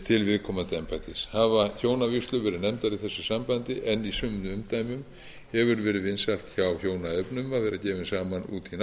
til viðkomandi embættis hafa hjónavígslur verið nefndar í þessu sambandi en í sumum umdæmum hefur verið vinsælt hjá hjónaefnum að vera gefin saman úti í